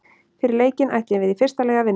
Fyrir leikinn ætluðum við í fyrsta lagi að vinna.